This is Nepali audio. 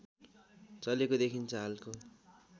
चलेको देखिन्छ हालको